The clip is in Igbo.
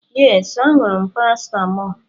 Yes, aṅụrụ m paracetamol